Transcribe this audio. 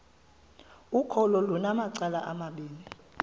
ukholo lunamacala amabini